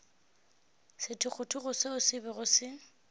sethogothogo seo se bego se